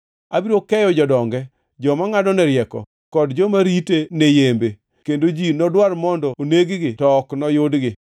Abiro keyo jodonge, joma ngʼadone rieko, kod joma rite ne yembe, kendo ji nodwar mondo oneg-gi to ok noyudgi.